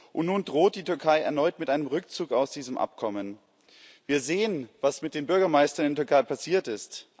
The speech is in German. Und nun droht die Türkei erneut mit einem Rückzug aus diesem Abkommen. Wir sehen, was mit den Bürgermeistern in der Türkei passiert ist.